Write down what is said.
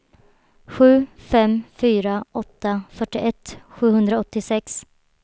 sju fem fyra åtta fyrtioett sjuhundraåttiosex